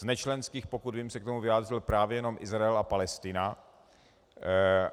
Z nečlenských, pokud vím, se k tomu vyjádřil právě jenom Izrael a Palestina.